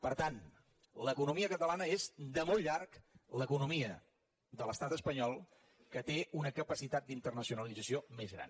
per tant l’economia catalana és de molt llarg l’economia de l’estat espanyol que té una capacitat d’internacionalització més gran